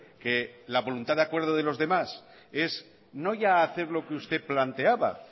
que la voluntad de acuerdo de los demás es no ya hacer lo que usted planteaba